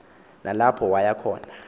nalapho waya khona